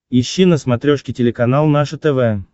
ищи на смотрешке телеканал наше тв